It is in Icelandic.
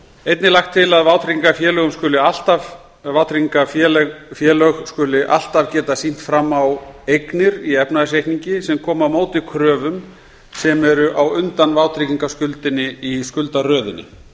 einnig er lagt til að vátryggingafélög skuli alltaf geta sýnt fram á eignir í efnahagsreikningi sem komi á móti kröfum sem eru á undan vátryggingaskuldinni í skuldaröðinni